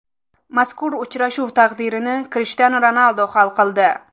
Mazkur uchrashuv taqdirini Krishtianu Ronaldu hal qildi.